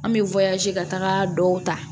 An bɛ ka taga dɔw ta